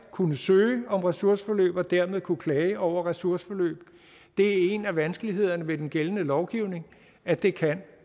kunne søge om ressourceforløb og dermed kunne klage over ressourceforløb det er en af vanskelighederne ved den gældende lovgivning at det kan